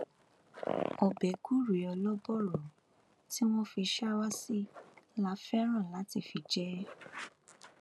ọbẹ gùrẹ olóbòro tí wọn fi ṣàwá sí la fẹràn láti fi jẹ ẹ